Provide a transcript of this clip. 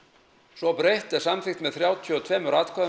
svo breytt er samþykkt með þrjátíu og tveimur atkvæðum